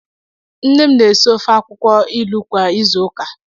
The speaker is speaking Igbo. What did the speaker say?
Nne m na-esi ofe akwukwo ilu kwa izu ụka.